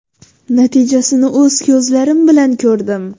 Natijasini o‘z ko‘zlarim bilan ko‘rdim.